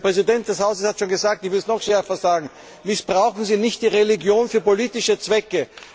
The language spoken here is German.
Der Präsident des Hauses hat schon gesagt, ich würde es noch schärfer sagen Missbrauchen Sie nicht die Religion für politische Zwecke!